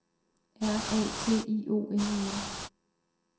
R A T I O N E N